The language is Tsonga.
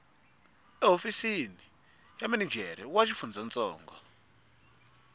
ehofisini ya minijere wa xifundzantsongo